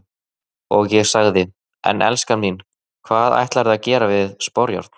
Og ég sagði:- En elskan mín, hvað ætlarðu að gera við sporjárn?